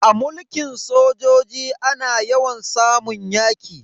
A mulkin sojoji ana yawan samun yaki.